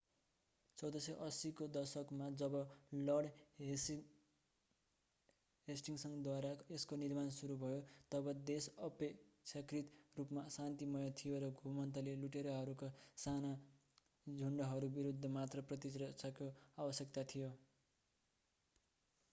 1480 को दशकमा जब लर्ड हेस्टिङ्सद्वारा यसको निर्माण सुरु भयो तब देश अपेक्षाकृत रूपमा शान्तिमय थियो र घुमन्ते लुटेराहरूका साना झुन्डहरू विरूद्ध मात्र प्रतिरक्षाको आवश्यकता थियो